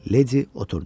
Lady oturdu.